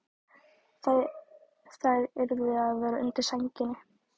Þær yrðu að vera undir sænginni.